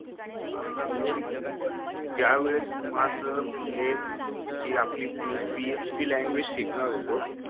पाच सहा महिने दिले पण ज्या वेळेस माझं मेन जीआपली मी PHP लँग्वेज शिकणार होतो